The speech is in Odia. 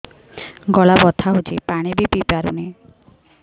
ଗଳା ବଥା ହଉଚି ପାଣି ବି ପିଇ ପାରୁନି